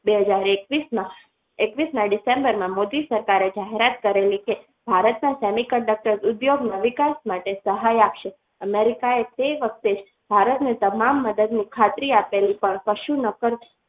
બે હાજર એકવીસ માં એકવીસ ના ડિસેમ્બરમાં મોદી સરકારે જાહેરાત કરેલી કે ભારતના semiconductor ઉપયોગમાં વિકાસ માટે સહાય આપશે America એ તે જ વખતે જ ભારતને મદદની ખાતરી આપેલી પણ કશું ન કરવા.